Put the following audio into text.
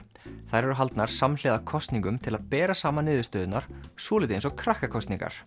þær eru haldnar samhliða kosningum til að bera saman niðurstöðurnar svolítið eins og krakkakosningar